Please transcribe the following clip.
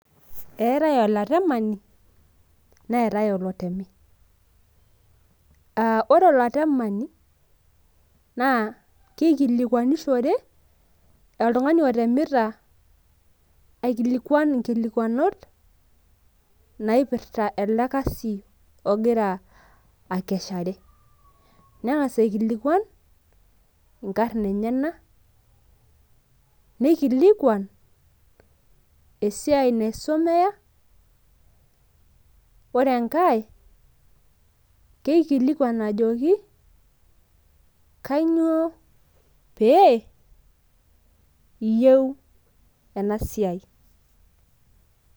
eetae olatemani neetae olotemi, ore olatemani naa kikilikuanishore oltungani otemita, aikilikuan inkilikuanot naaipirta ele kasi ogira akeshere. neng'as aikilikuan inkarn enyenak, nikilikuan esiai naisomea, neikilikuan ajoki kainyioo pee iyieu ena siai.